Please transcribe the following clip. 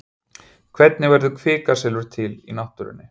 Hvernig verður kvikasilfur til í náttúrunni?